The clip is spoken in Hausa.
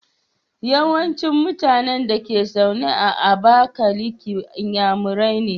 Yawancin mutAnan Dake zaune a abakaliki inyamurai ne